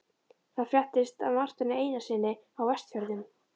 Það fréttist af Marteini Einarssyni á Vestfjörðum.